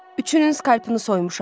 Üçünün skalpını soymuşam.